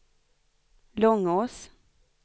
Långås